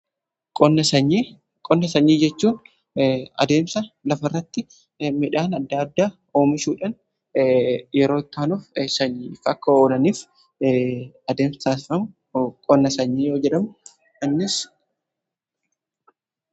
qonna sanyii jechuun adeemsa lafa irratti midhaan adda addaa oomishuudhan yeroo itti aanuuf sanyiif akka oolaniif adeemsifamu qonna sanyii kan jedhamudha.